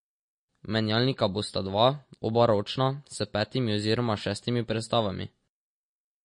Menjalnika bosta dva, oba ročna, s petimi oziroma šestimi prestavami.